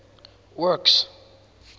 works